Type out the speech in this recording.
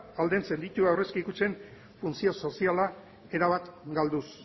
aldentzen ditu aurrezki kutxen funtzio soziala erabat galduz